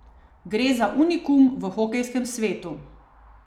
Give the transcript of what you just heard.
Gre za unikum v hokejskem svetu.